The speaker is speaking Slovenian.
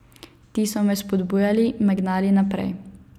Ti so me vzpodbujali, me gnali naprej.